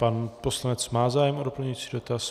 Pan poslanec má zájem o doplňující dotaz?